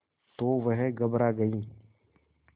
तो वह घबरा गई